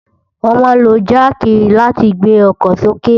Wòn má n ló jàkí làtí gbé òkò sóké